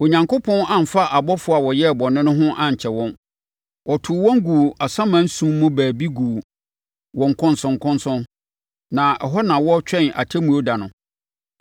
Onyankopɔn amfa abɔfoɔ a wɔyɛɛ bɔne no ho ankyɛre wɔn. Ɔtoo wɔn guu asaman sum mu baabi guu wɔn nkɔnsɔnkɔnsɔn, na ɛhɔ na wɔretwɛn Atemmuo da no.